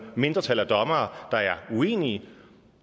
mindretal af dommere der er uenige